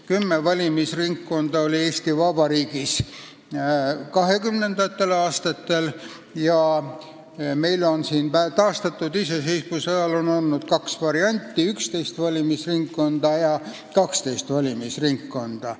Kümme valimisringkonda oli Eesti Vabariigis 1920-ndatel aastatel ja taastatud iseseisvuse ajal on olnud kaks varianti: 11 ja 12 valimisringkonda.